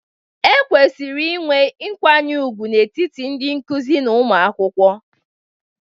E kwesịrị inwe nkwanye ùgwù n'etiti ndị nkuzi na ụmụ akwụkwọ.